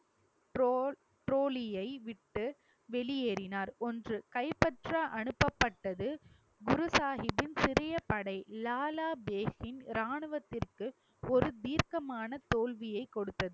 Draw~ ட்ரோலியை விட்டு வெளியேறினார் ஒன்று கைப்பற்ற அனுப்பப்பட்டது குரு சாஹிப்பின் சிறிய படை லாலா தேகின் ராணுவத்திற்கு ஒரு தீர்க்கமான தோல்வியை கொடுத்தது.